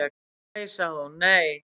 """Ó, nei sagði hún, nei."""